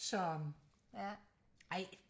så ja ej